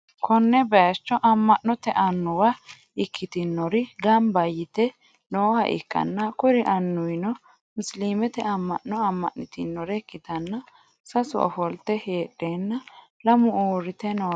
konne bayicho amma'note annuwa ikkitinori gamba yite nooha ikkanna, kuri annuwino musiliimete amma'no amma'nitinore ikkitanna, sasu ofolte heedheenna lamu uurrite nooreeti.